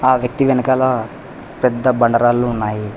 ఆ వ్యక్తి వెనకాల పెద్ద బండ రాళ్లు ఉన్నాయి.